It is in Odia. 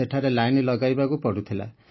ସେଠାରେ ଲାଇନ୍ ଲଗାଇବାକୁ ପଡୁଥିଲା